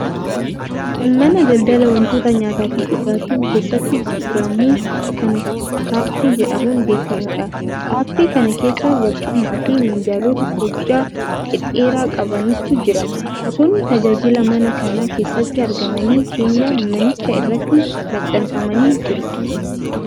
Kun mana daldalaa wantoota nyaataafi dhugaatiin keessatti gurguramu kan kaaffee jedhamuun beekamuudha. Kaaffee kana keessa barcumaafi minjaalota hojjaa dhedheeraa qabantu jira. Gosoonni tajaajilaa mana kana keessatti argamanii keenyan manichaa irratti maxxanfamanii jiru.